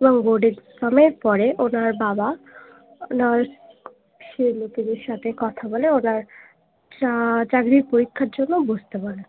এবং board exam এর পরে ওনার বাবা ওনার সাথে কথা বলে ওনার চাকরির পরীক্ষার জন্য বসতে বলে